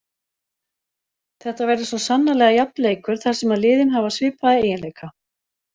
Þetta verður svo sannarlega jafn leikur þar sem að liðin hafa svipaða eiginleika.